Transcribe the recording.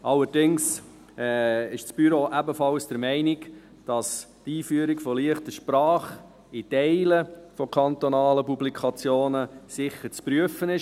Allerdings ist das Büro ebenfalls der Meinung, dass die Einführung von «leichter Sprache» für Teile von kantonalen Publikationen sicher zu prüfen ist.